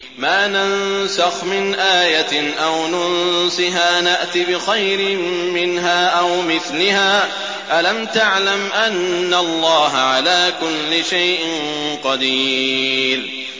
۞ مَا نَنسَخْ مِنْ آيَةٍ أَوْ نُنسِهَا نَأْتِ بِخَيْرٍ مِّنْهَا أَوْ مِثْلِهَا ۗ أَلَمْ تَعْلَمْ أَنَّ اللَّهَ عَلَىٰ كُلِّ شَيْءٍ قَدِيرٌ